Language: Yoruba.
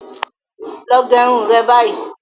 Lọ gẹ irun re báyìí!